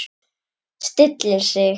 Stillir sig.